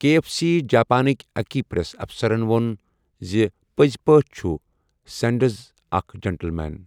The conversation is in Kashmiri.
کے اٮ۪ف سی جاپانٕکۍ أکۍ پریس افسرَن ووٚن زِ 'پٔزۍ پٲٹھۍ چھُ سینڈرز اکھ 'جنٹلمین'۔